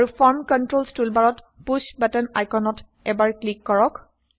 আৰু form controls টুলবাৰত push button আইকনত এবাৰ ক্লিক কৰক